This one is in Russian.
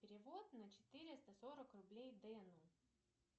перевод на четыреста сорок рублей дэну